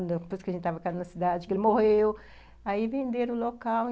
Depois que a gente estava ficando na cidade, que ele morreu, aí venderam o local.